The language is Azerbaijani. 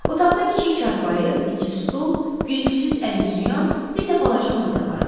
Otaqda kiçik çarpayı, iki stol, güzgüsüz əlüzyuyan, bir də balaca masa vardı.